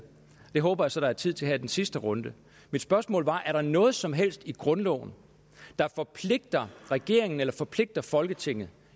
det håber jeg så der er tid til her i den sidste runde mit spørgsmål var er der noget som helst i grundloven der forpligter regeringen eller forpligter folketinget